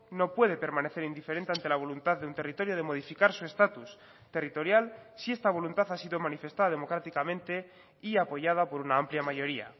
no puede permanecer indiferente ante la voluntad de un territorio de modificar su estatus territorial si esta voluntad ha sido manifestada democráticamente y apoyada por una amplia mayoría